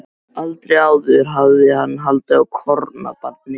Aldrei áður hafði hann haldið á kornabarni.